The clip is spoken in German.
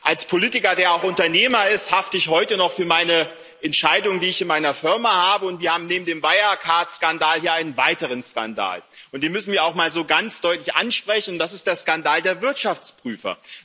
Als Politiker, der auch Unternehmer ist, hafte ich heute noch für meine Entscheidung, die ich in meiner Firma habe. Und wir haben neben dem Wirecard Skandal hier einen weiteren Skandal, und den müssen wir auch mal so ganz deutlich ansprechen Das ist der Skandal der Wirtschaftsprüfer.